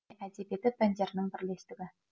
әдебиеті пәндерінің бірлестігі